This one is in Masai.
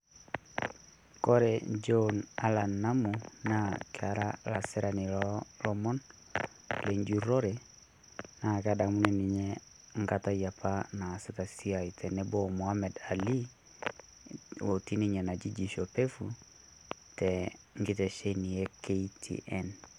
Kore Joe Allan Namu naa kera lasirani loo lomon lenjurrore naa kedamuni ninye nkata yiapa naasita siai tenebo o Mohammed Ali otii ninye naji jicho pevu tenkitesheni e KTN.